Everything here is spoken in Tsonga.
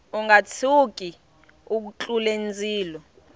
unga tshuki u tlule ndzilo